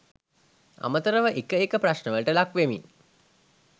අමතරව එක එක ප්‍රශ්නවලට ලක්‌ වෙමින්